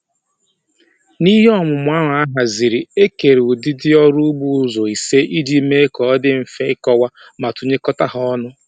N'ihe ọmụmụ ahụ a haziri e kere ụdịdị ọrụ ugbo ụzọ ise iji mee ka ọ dị mfe ịkọwa ma tụnyekọta ha